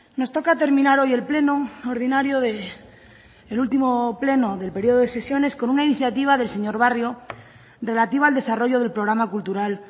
nos toca terminar hoy el pleno ordinario el último pleno del periodo de sesiones con una iniciativa del señor barrio relativa al desarrollo del programa cultural